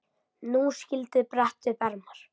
Nú skyldi bretta upp ermar.